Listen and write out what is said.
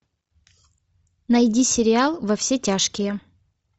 найди сериал во все тяжкие